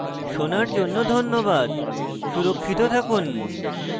শোনার জন্য ধন্যবাদ সুরক্ষিত থাকুন